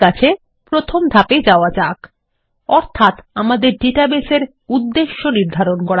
ঠিক আছে প্রথম ধাপে যাওয়া যাক অর্থাত আমাদের ডাটাবেস উদ্দেশ্য নির্ধারণ করা